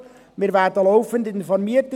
Wir werden in der FiKo laufend informiert.